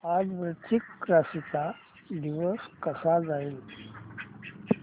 आज वृश्चिक राशी चा दिवस कसा जाईल